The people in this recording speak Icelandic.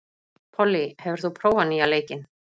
Pollý, hefur þú prófað nýja leikinn?